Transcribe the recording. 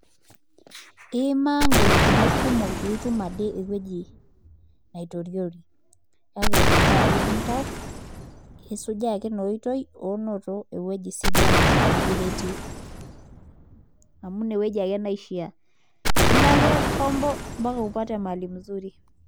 Iimaa ngolikinot kumok pee itum aitoriori kake, mifaa pee igil oltau isujaa ake ina oitoi oo noto, ewueji sidai nikireti amu ine wueji ake neishaa, elo ake combo ompaka nitumie ewueji sidai